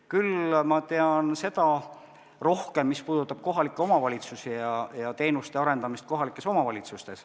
Küll tean ma rohkem seda, mis puudutab kohalikke omavalitsusi ja teenuste arendamist kohalikes omavalitsustes.